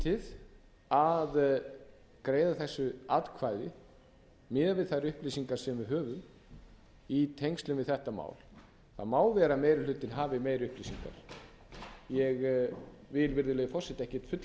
ábyrgðarlítið að greiða þessu atkvæði miðað við þær upplýsingar sem við höfum í tengslum við þetta mál það má vera að meiri hlutinn hafi meiri upplýsingar ég vil virðulegi forseti ekkert fullyrða um það